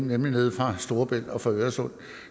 nemlig nede fra storebælt og fra øresund